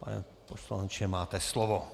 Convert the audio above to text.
Pane poslanče, máte slovo.